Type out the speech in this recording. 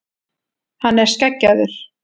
Hann er skeggjaður.